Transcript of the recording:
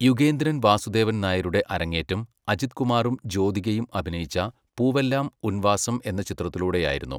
യുഗേന്ദ്രൻ വാസുദേവൻ നായരുടെ അരങ്ങേറ്റം, അജിത് കുമാറും ജ്യോതികയും അഭിനയിച്ച 'പൂവെല്ലാം ഉൻ വാസം' എന്ന ചിത്രത്തിലൂടെയായിരുന്നു.